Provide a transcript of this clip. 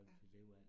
Ja